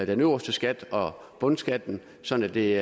den øverste skat og bundskatten sådan at det